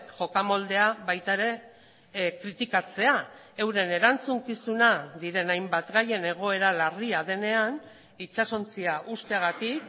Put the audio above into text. jokamoldea baita ere kritikatzea euren erantzukizuna diren hainbat gaien egoera larria denean itsasontzia uzteagatik